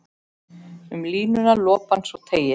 Um línuna lopann svo teygir.